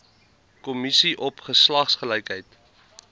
kommissie op geslagsgelykheid